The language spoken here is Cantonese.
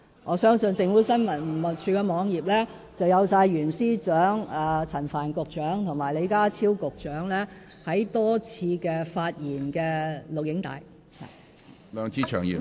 我相信政府新聞處的網頁載有袁司長、陳帆局長及李家超局長多次發言的錄影帶。